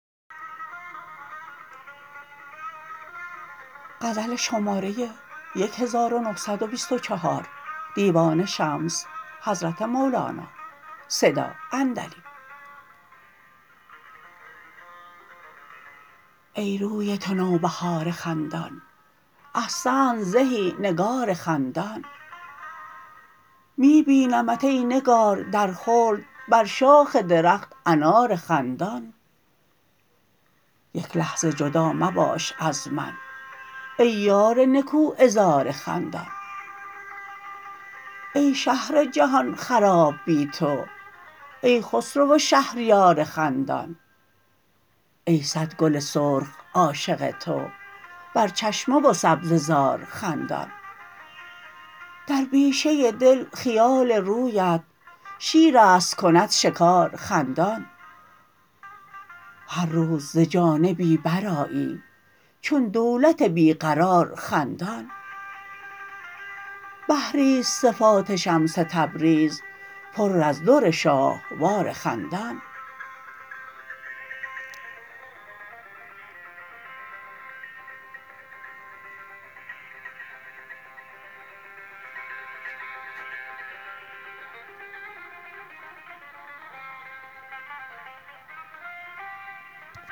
ای روی تو نوبهار خندان احسنت زهی نگار خندان می بینمت ای نگار در خلد بر شاخ درخت انار خندان یک لحظه جدا مباش از من ای یار نکوعذار خندان ای شهر جهان خراب بی تو ای خسرو و شهریار خندان ای صد گل سرخ عاشق تو بر چشمه و سبزه زار خندان در بیشه دل خیال رویت شیر است کند شکار خندان هر روز ز جانبی برآیی چون دولت بی قرار خندان بحری است صفات شمس تبریز پر از در شاهوار خندان